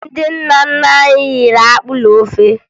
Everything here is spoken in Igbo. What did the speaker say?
Ndị nna nna anyị riri akpụ na ofe